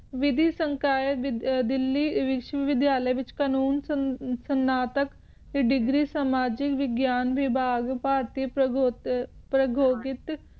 ਦਿੱਲੀ ਸੰਸ਼ਲੇ ਵਿਚ degree ਸਮਾਜਿਕ ਵਿਗਿਆਨ ਭਗਪੀ ਪ੍ਰਯੋਗ ਪਰੋਗੋਗਹਿਤ